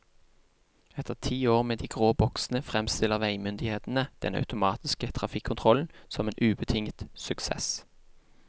Etter ti år med de grå boksene fremstiller veimyndighetene den automatiske trafikkontrollen som en ubetinget suksess.